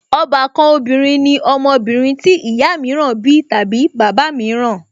Ọbàkan obìnrin ní ọmọbìnrin tí ìyá mìíràn bí tàbí bàbá mìíràn